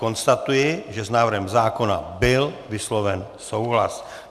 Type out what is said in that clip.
Konstatuji, že s návrhem zákona byl vysloven souhlas.